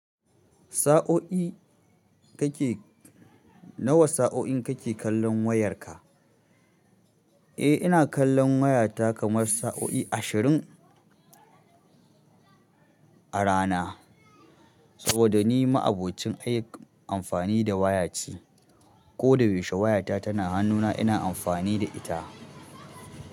Sa'oi? Nawa sa'o'i kake kallon wayar ka eh, ina kallon wayata kamar sa'o'i ashirin a rana. Saboda ni ma'abocin amfani da waya ce. Ko da yaushe wayata tana hannuna ina amfani da ita.